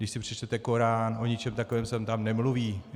Když si přečtete Korán, o ničem takovém se tam nemluví.